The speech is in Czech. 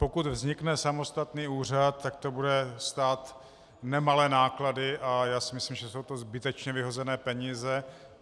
Pokud vznikne samostatný úřad, tak to bude stát nemalé náklady a já si myslím, že jsou to zbytečně vyhozené peníze.